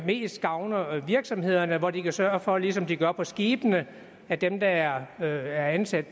mest gavner virksomhederne hvor de kan sørge for ligesom de gør på skibene at dem der er ansat